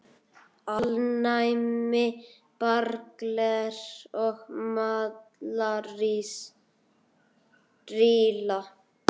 Alnæmi, berklar og malaría